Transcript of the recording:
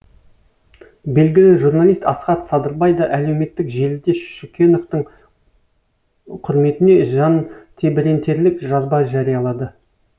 белгілі журналист асхат садырбай да әлеуметтік желіде шүкеновтың құрметіне жантебірентерлік жазба жариялады